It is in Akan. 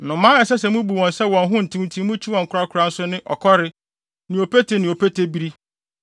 “ ‘Nnomaa a ɛsɛ sɛ mubu wɔn sɛ wɔn ho ntew nti mukyi no korakora nso ne: ɔkɔre, ne opete ne opetebiri,